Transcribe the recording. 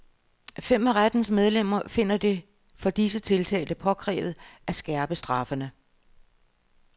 Fem af rettens medlemmer finder det for disse tiltalte påkrævet at skærpe straffene.